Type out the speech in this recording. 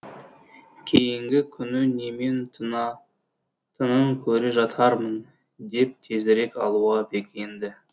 кейінгі күні немен тынатынын көре жатармын деп тезірек алуға бекінді